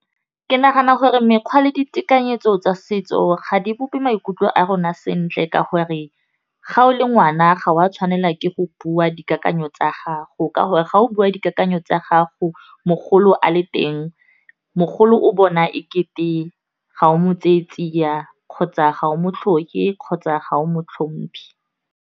Ke nagana gore mekgwa le ditekanyetso tsa setso ga di bope maikutlo a rona sentle ka gore, ga o le ngwana ga o a tshwanela ke go bua dikakanyo tsa gago ka gore, ga o bua dikakanyo tsa gago mogolo a le teng, mogolo o bona e kete ga o mo tseye tsia, kgotsa ga o mo tlhoke, kgotsa ga o mo tlhompe.